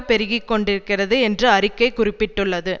பெருகி கொண்டிருக்கிறது என்று அறிக்கை குறிப்பிட்டுள்ளது